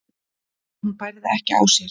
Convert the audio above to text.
en hún bærði ekki á sér.